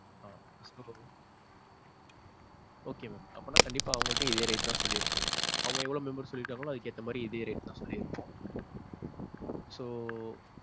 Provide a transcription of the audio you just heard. ஆ. so okay mam. அப்பண்ணா கண்டிப்பா அவங்க கிட்டேயும் இதே rate தான் சொல்லி இருப்போம். அவங்க எவ்வளவு members சொல்லி இருக்காங்களோ அதுக்கு ஏத்த மாதிரி இதே rate தான் சொல்லி இருப்போம். so,